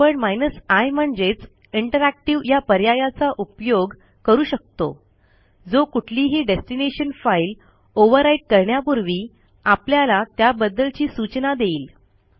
आपण i म्हणजेच interactive या पर्यायाचा उपयोग करू शकतो जो कुठलीही डेस्टिनेशन फाईल ओव्हरराईट करण्यापूर्वी आपल्याला त्याबद्दवची सूचना देईल